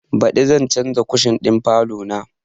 Baɗi zan canza kushin ɗin falo na